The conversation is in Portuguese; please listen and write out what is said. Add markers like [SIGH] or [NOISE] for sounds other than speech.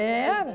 [UNINTELLIGIBLE] Era.